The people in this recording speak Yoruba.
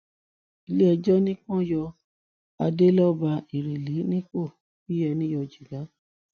iléẹjọ ní kí wọn yọ adéleọba ìrẹlẹ nípò bíi ẹni yọ jìgá